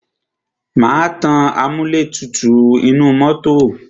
Má tan amúlẹ̀tutù inú mọ́tọ̀.